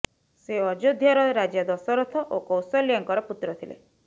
ସେ ଅଯୋଧ୍ୟାର ରାଜା ଦଶରଥ ଓ କୌଶଲ୍ୟାଙ୍କର ପୁତ୍ର ଥିଲେ